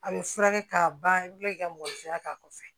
A bɛ furakɛ k'a ban i bɛ kila k'i ka mɔbili furakɛ k'a kɔfɛ